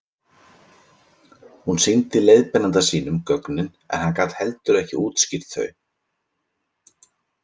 Hún sýndi leiðbeinanda sínum gögnin en hann gat heldur ekki útskýrt þau.